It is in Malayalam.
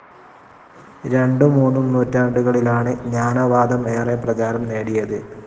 രൺടും മൂന്നും നൂറ്റാണ്ടുകളിലണ് ജ്ഞാനവാദം ഏറെ പ്രചാരം നേടിയത്.